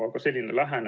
Jevgeni Ossinovski, palun!